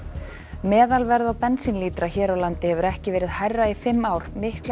meðalverð á bensínlítra hér á landi hefur ekki verið hærra í fimm ár miklar